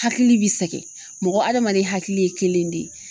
Hakili bi sɛkɛ mɔgɔ hadamaden hakili ye kelen de ye